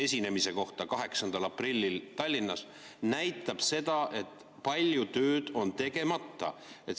esinemine 8. aprillil Tallinnas, näitab seda, et palju tööd on tegemata.